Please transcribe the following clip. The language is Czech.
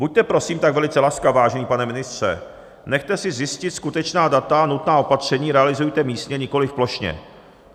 Buďte prosím tak velice laskav, vážený pane ministře, nechte si zjistit skutečná data a nutná opatření realizujte místně, nikoliv plošně.